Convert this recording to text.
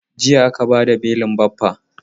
Jiya aka bada belin Baffa.